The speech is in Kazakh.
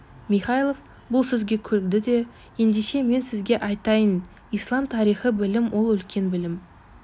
михайлов бұл сөзге күлді де ендеше мен сізге айтайын ислам тарихы білім ол үлкен білім